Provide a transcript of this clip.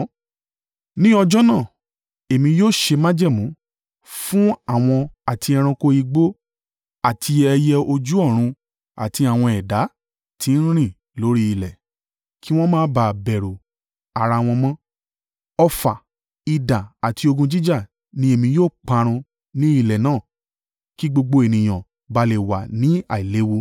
Ní ọjọ́ náà, èmi yóò ṣe májẹ̀mú fún wọn àti àwọn ẹranko igbó àti ẹyẹ ojú ọ̀run àti àwọn ẹ̀dá tí ń rìn lórí ilẹ̀. Kí wọn má bà á bẹ̀rù ara wọn mọ́. Ọfà, idà àti ogun jíjà ni èmi ó parun ní ilẹ̀ náà kí gbogbo ènìyàn bá a lè wà ní àìléwu.